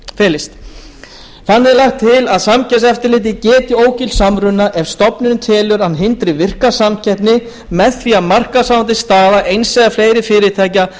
felist þannig er lagt til að samkeppniseftirlitið geti ógilt samruna ef stofnunin telur að hann hindri virka samkeppni með því að markaðsráðandi staða eins eða fleiri fyrirtækja